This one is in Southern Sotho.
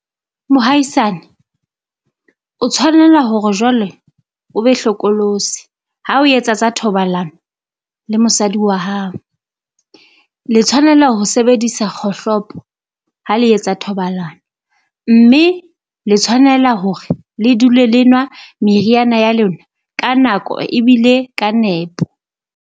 Mohaisane o tshwanela hore jwale o be hlokolosi ha o etsa tsa thoballano le mosadi wa hao. Le tshwanela ho sebedisa kgohlopo ha le etsa thobalano, mme le tshwanela hore le dule le nwa meriana ya lona ka nako ebile ka nepo.